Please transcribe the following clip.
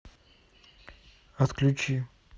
отключи